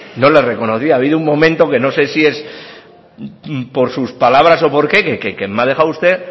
no le reconocía ha habido un momento que no sé si es por sus palabras o por qué que me ha dejado usted